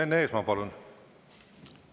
Enn Eesmaa, palun!